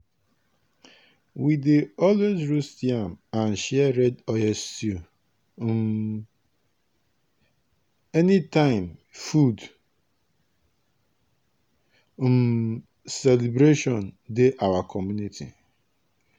we dey always roast yam and share red oil stew um anytime food um celebration dey our community.